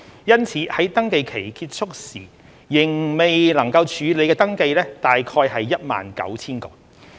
因此，在登記期結束時仍未能處理的登記約為 19,000 個。